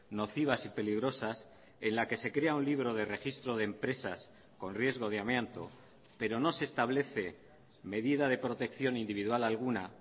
nocivas y peligrosas en la que se crea un libro de registro de empresas con riesgo de amianto pero no se establece medida de protección individual alguna